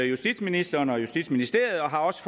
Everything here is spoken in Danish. justitsministeren og justitsministeriet og har også